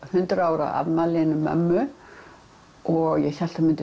hundrað ára afmæli mömmu og ég hélt